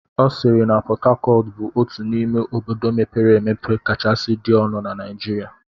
Ọ sịịrị na Pọt Hacọt bụ otu n'ime obodo mepere emepe kachasị dị ọnụ na Naijiria.